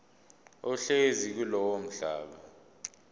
ohlezi kulowo mhlaba